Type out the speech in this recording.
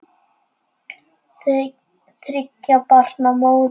Þriggja barna móðir.